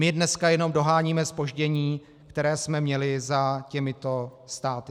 My dneska jenom doháníme zpoždění, které jsme měli za těmito státy.